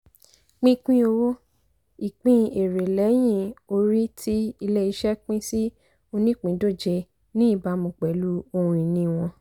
pínpín owó - ìpín èrè lẹ́yìn-orí tí ilé-iṣẹ́ pín sí onípìndóje ní ìbámu pẹ̀lú ohun-ìní wọn.